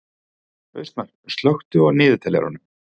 Austmar, slökktu á niðurteljaranum.